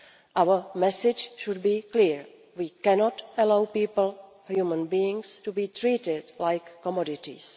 Our message should be clear we cannot allow people, human beings, to be treated like commodities.